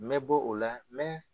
N be bɔ o la , n be